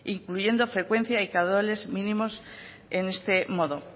incluyendo frecuencia y caudales mínimos en este modo